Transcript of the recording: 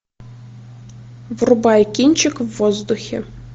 врубай кинчик в воздухе